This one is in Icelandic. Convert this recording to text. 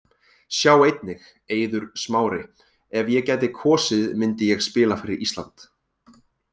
Sjá einnig: Eiður Smári: Ef ég gæti kosið myndi ég spila fyrir Ísland